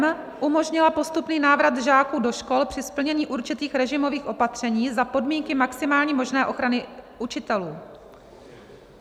m) umožnila postupný návrat žáků do škol při splnění určitých režimových opatření za podmínky maximální možné ochrany učitelů.